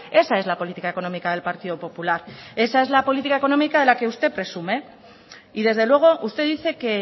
esa es la política económica del partido popular esa es la política económica de la que usted presume y desde luego usted dice que